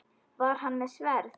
Var hann með sverð?